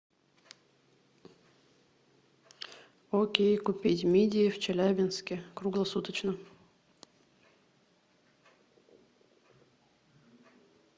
окей купить мидии в челябинске круглосуточно